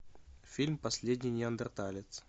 фильм последний неандерталец